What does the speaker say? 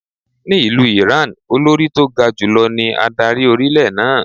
Ni ìlú Ìráǹ, Olórí tó ga jù lọ ní adarí orílẹ̀ náà.